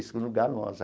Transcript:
Segundo lugar, nós.